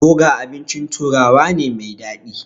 Boga abincin turawa ne mai daɗi.